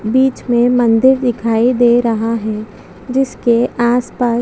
बीच में मंदिर दिखाई दे रहा है जिसके आस पास --